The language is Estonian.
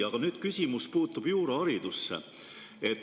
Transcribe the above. Aga küsimus puutub juuraharidusse.